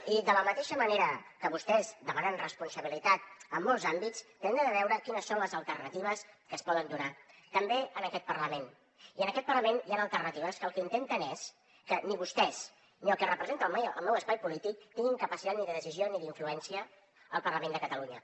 i de la mateixa manera que vostès demanen responsabilitat en molts àmbits hem de veure quines són les alternatives que es poden donar també en aquest parlament i en aquest parlament hi han alternatives que el que intenten és que ni vostès ni el que representa el meu espai polític tinguin capacitat ni de decisió ni d’influència al parlament de catalunya